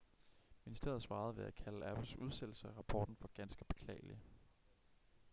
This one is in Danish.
ministeriet svarede ved at kalde apples udsættelse af rapporten for ganske beklagelig